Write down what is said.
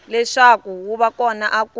leswaku wu va kona ku